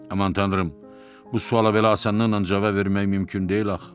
Aman tanrım, bu suala belə asanlıqla cavab vermək mümkün deyil axı.